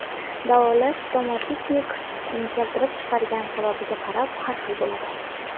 Davolash stomatitni keltirib chiqargan sababiga qarab har xil bo‘ladi.